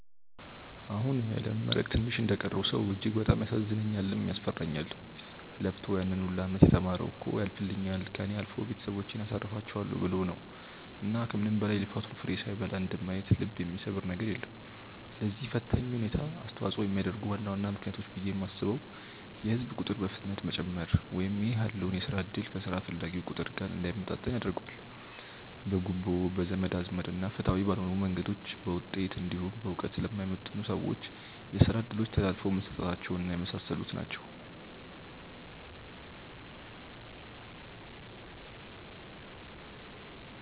አሁን ለመመረቅ ትንሽ እንደቀረው ሰው እጅግ በጣም ያሳዝነኛልም፤ ያስፈራኛልም። ለፍቶ ያን ሁላ አመት የተማረው እኮ ያልፍልኛል፣ ከእኔ አልፎ ቤተሰቦቼን አሳርፋቸዋለው ብሎ ነው። እና ከምንም በላይ የልፋቱን ፍሬ ሳይበላ እንደማየት ልብ የሚሰብር ነገር የለም። ለዚህ ፈታኝ ሁኔታ አስተዋጽኦ የሚያደርጉ ዋና ዋና ምክንያቶች ብዬ የማስበው የህዝብ ቁጥር በፍጥነት መጨመር ( ይህ ያለውን የስራ እድል ከስራ ፈላጊው ቁጥር ጋር እንዳይመጣጠን ያደርገዋል።) ፣ በጉቦ፣ በዘመድ አዝማድ እና ፍትሃዊ ባልሆኑ መንገዶች በውጤት እንዲሁም በእውቀት ለማይመጥኑ ሰዎች የስራ እድሎች ተላልፈው መሰጠታቸው እና የመሳሰሉት ናቸው።